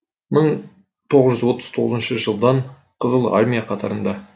мың тоғыз жүз отыз тоғызыншы жылдан қызыл армия қатарында